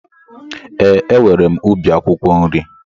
Ee, e nwèrè m ubi akwụkwọ nri